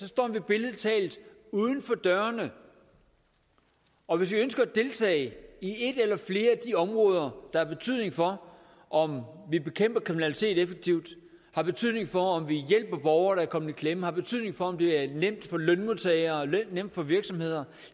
står vi billedlig talt uden for dørene og hvis vi ønsker at deltage i et eller flere af de områder der har betydning for om vi bekæmper kriminalitet effektivt har betydning for om vi hjælper borgere der er kommet i klemme har betydning for om det er nemt for lønmodtagere og nemt for virksomheder